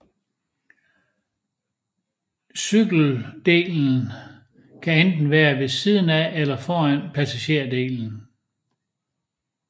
Cykeldelen kan enten være ved siden af eller foran passagerdelen